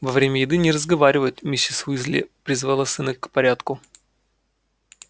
во время еды не разговаривают миссис уйзли призвала сына к порядку